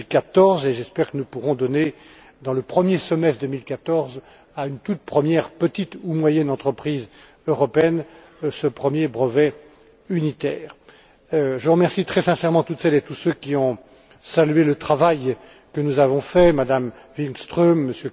2014. J'espère que nous pourrons donner, au cours du premier semestre 2014, à une toute première petite ou moyenne entreprise européenne ce premier brevet unitaire. Je remercie très sincèrement toutes celles et tous ceux qui ont salué le travail que nous avons réalisé, Mme Wikström,